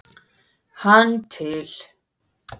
hann til.